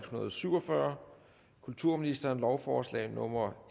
hundrede og syv og fyrre kulturministeren lovforslag nummer